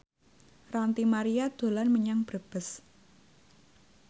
Ranty Maria dolan menyang Brebes